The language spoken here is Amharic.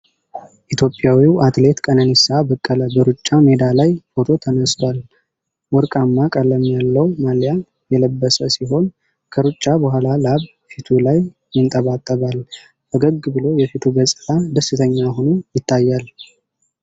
ኢትዮጵያዊው አትሌት ቀነኒሳ በቀለ በሩጫ ሜዳ ላይ ፎቶ ተነስቷል። ወርቃማ ቀለም ያለው ማሊያ የለበሰ ሲሆን፣ ከሩጫ በኋላ ላብ ፊቱ ላይ ይንጠባጠባል። ፈገግ ብሎ የፊቱ ገፅታ ደስተኛ ሆኖ ይታያል።